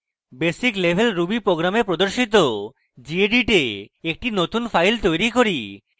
basic level ruby tutorials প্রদর্শিত gedit a একটি নতুন file তৈরী করি